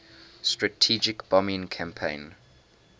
strategic bombing campaign